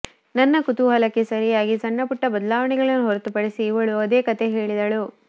ನನ್ನ ಕುತೂಹಲಕ್ಕೆ ಸರಿಯಾಗಿ ಸಣ್ಣ ಪುಟ್ಟ ಬದಲಾವಣೆಗಳನ್ನು ಹೊರತುಪಡಿಸಿ ಇವಳೂ ಅದೇ ಕತೆ ಹೇಳಿದಳು